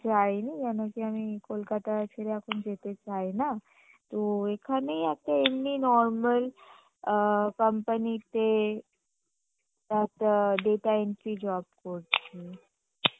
যাইনি কেনো কি আমি কোলকাতা ছেড়ে এখন যেতে চাইনা তো এখানেই একটা এমনি normal আ company তে একটা data entry job করছি